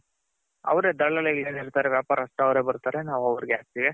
ಅವ್ರೆ ದಲ್ಲಾಳಿ ಗಳು ಏನಿರ್ತಾರೆ ವ್ಯಾಪಾರಸ್ಥರು ಅವ್ರೆ ಬರ್ತಾರೆ ನಾವ್ ಅವರ್ಗೆ ಹಾಕ್ತಿರಿ.